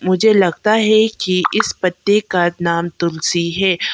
मुझे लगता है कि इस पत्ते का नाम तुलसी है।